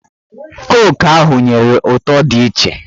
Koku ahụ nyere ụtọ dị iche